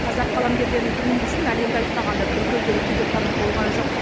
қазақ қаламгерлерінің туындысын әлемді айтпағанда түркі елдері түгел танып болған жоқ